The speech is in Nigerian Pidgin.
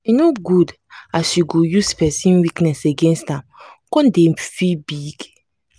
e no good say you go use pesin weakness against am come dey feel big.